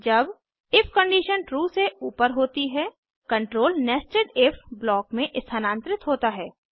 जब if condition true से ऊपर होती है कंट्रोल नेस्टेड इफ ब्लॉक में स्थानांतरित होता है